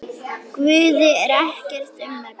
Guði er ekkert um megn.